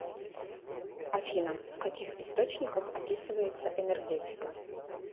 афина в каких источниках описывается энергетика